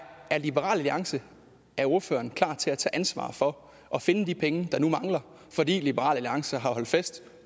liberal alliance er ordføreren klar til at tage ansvaret for at finde de penge der nu mangler fordi liberal alliance har holdt fest